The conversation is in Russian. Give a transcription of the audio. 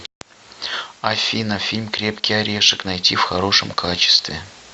афина фильм крепкий орешек найти в хорошем качестве